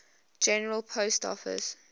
general post office